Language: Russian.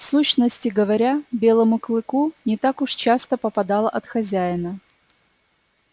в сущности говоря белому клыку не так уж часто попадало от хозяина